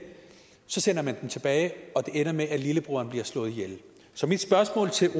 sender man dem tilbage og det ender med at lillebroren bliver slået ihjel så mit spørgsmål til